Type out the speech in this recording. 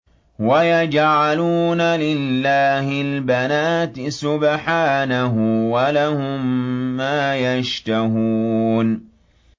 وَيَجْعَلُونَ لِلَّهِ الْبَنَاتِ سُبْحَانَهُ ۙ وَلَهُم مَّا يَشْتَهُونَ